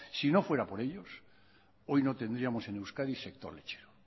si no fuera por ellos hoy no tendríamos en euskadi sector lechero